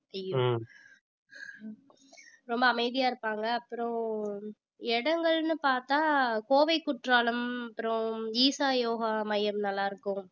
ஐயோ ரொம்ப அமைதியா இருப்பாங்க. அப்புறம் இடங்கள்னு பார்த்தா கோவை குற்றாலம் அப்புறம் ஈஷா யோகா மையம் நல்லா இருக்கும்